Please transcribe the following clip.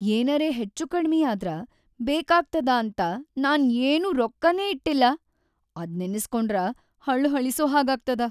ಏನರೇ ಹೆಚ್ಚುಕಡ್ಮಿ ಆದ್ರ ಬೇಕಾಗ್ತದ ಅಂತ ನಾನ್‌ ಏನೂ ರೊಕ್ಕನೇ ಇಟ್ಟಿಲ್ಲ, ಅದ್ ನೆನಿಸ್ಕೊಂಡ್ರ ಹಳ್‌ಹಳಿಸೋ ಹಾಗಾಗ್ತದ.